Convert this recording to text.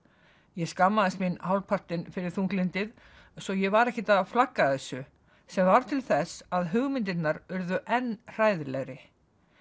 ég skammaðist mín hálfpartinn fyrir þunglyndið svo ég var ekkert að flagga þessu sem varð til þess að hugmyndirnar urðu enn hræðilegri